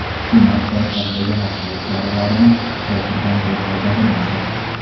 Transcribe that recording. Hukumat poytaxtdagi xavfsizlik choralarini kuchaytirgan, deb yozadi nashr.